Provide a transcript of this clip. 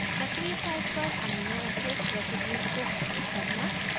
सक्रिय site पर amino acid residues को highlight करना